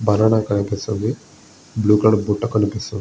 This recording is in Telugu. బనానా కనిపిస్తుంది బ్లూ కలర్ బుట్ట కనిపిస్తుంది.